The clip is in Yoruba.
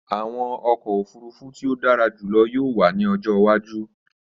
Àwọn ọkọ ofurufu ti o dara julọ yoo wa ni ọjọ iwaju.